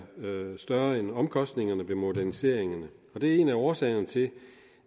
større end omkostningerne ved moderniseringen det er en af årsagerne til